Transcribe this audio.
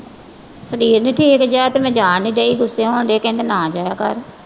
ਸਰੀਰ ਨੀ ਠੀਕ ਜਿਹਾ ਤੇ ਮੈਂ ਜਾ ਨੀ ਡਈ ਗੁੱਸੇ ਹੁੰਦੇ ਆ ਕਹਿੰਦਾ ਨਾ ਜਾਇਆ ਕਰ।